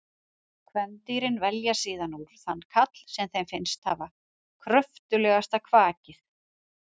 Kvendýrin velja síðan úr þann karl sem þeim finnst hafa kröftugasta kvakið.